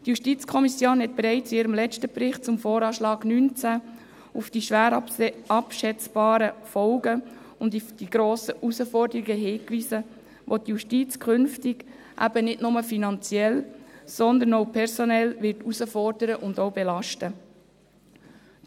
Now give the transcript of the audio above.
Die JuKo hat bereits in ihrem letzten Bericht zum VA 2019 auf die schwer abschätzbaren Folgen und die grossen Herausforderungen hingewiesen, welche die Justiz künftig nicht nur finanziell, sondern auch personell herausfordern und auch belasten werden.